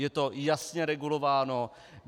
Je to jasně regulováno.